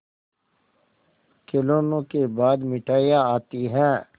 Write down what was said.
खिलौनों के बाद मिठाइयाँ आती हैं